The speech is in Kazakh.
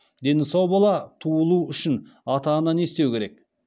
дені сау бала туылу үшін ата ана не істеу керек